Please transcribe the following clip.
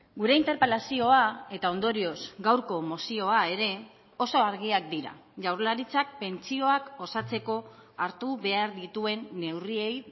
gure interpelazioa eta ondorioz gaurko mozioa ere oso argiak dira jaurlaritzak pentsioak osatzeko hartu behar dituen neurriei